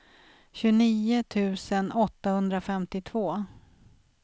tjugonio tusen åttahundrafemtiotvå